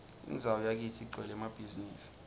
indzawo yakitsi igcwele emabhizimisi